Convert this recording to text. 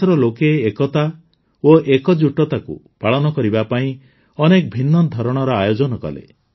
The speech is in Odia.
ଦେଶର ଲୋକେ ଏକତା ଓ ଏକଜୁଟତାକୁ ପାଳନ କରିବା ପାଇଁ ଅନେକ ଭିନ୍ନ ଧରଣର ଆୟୋଜନ କଲେ